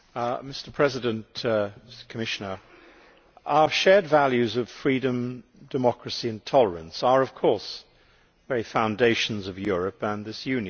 Mr President, Commissioner, our shared values of freedom, democracy and tolerance are, of course, the very foundations of Europe and this Union.